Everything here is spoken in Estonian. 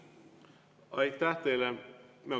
Aitäh teile!